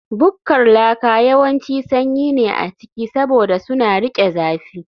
Bukkar laka yawanci sanyi ne a ciki, saboda suna riƙe zafi